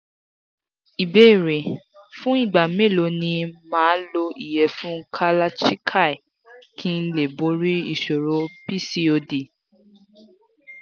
ìbéèrè: fún ìgbà mélòó ni ma lo iyefun kalachikai kí n lè borí ìṣòro pcod